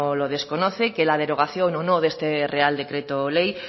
lo desconoce que la derogación o no de este real decreto ley